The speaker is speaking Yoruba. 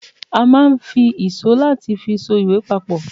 a ma n fi ìsó latí fi só ìwè papò